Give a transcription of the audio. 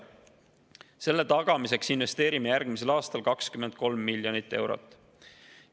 Selle tagamiseks investeerime järgmisel aastal 23 miljonit eurot.